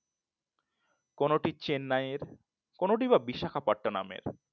কোনটি চেন্নাইয়ের কোনোটি বা বিশাখাপাট্টানামের